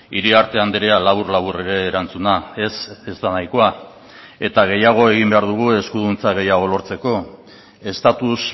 iriarte andrea labur labur ere erantzuna ez ez da nahikoa eta gehiago egin behar dugu eskuduntza gehiago lortzeko estatus